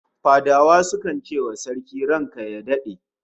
Fadawa sukan ce wa Sarki "ranka ya dade"